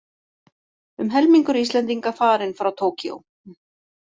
Um helmingur Íslendinga farinn frá Tókýó